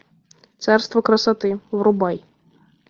царство красоты врубай